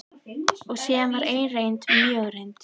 Og síðan var ein reynd, mjög reynd.